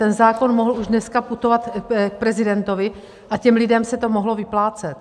Ten zákon mohl už dneska putovat k prezidentovi a těm lidem se to mohlo vyplácet!